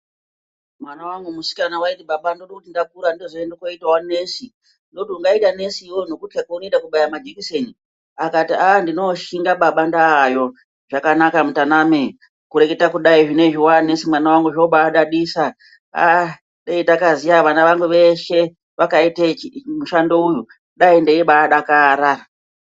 Mwana wangu musikana waiti baba ndoda kuti ndakura ndoda kuzoenda koita Nesi. Ndoti ungaita Nesi iwewe nokutyxa kwaunoita kubaya majekiseni, akati aaa baba ndinoo shinga kana ndaayo. Zvakanaka mutaname kureketa kudai zvinezvi waaNesi mwanangu zvinobadadisa aaa dai ndakaziya vana vangu veshe vakaite mushando uyu dai ndeibadakara.